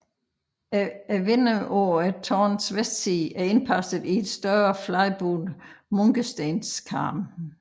Vinduet på tårnets vestside er indpasset til en større fladbuet munkestenskarm